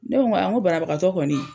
Ne ko ŋa ŋo banabagatɔ kɔni